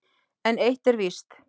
En eitt er víst